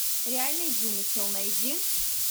реальный вымысел найди